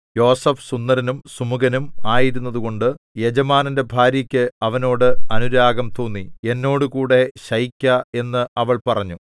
യോസേഫ് സുന്ദരനും സുമുഖനും ആയിരുന്നതുകൊണ്ട് യജമാനന്റെ ഭാര്യക്ക് അവനോട് അനുരാഗം തോന്നി എന്നോടുകൂടെ ശയിക്ക എന്ന് അവൾ പറഞ്ഞു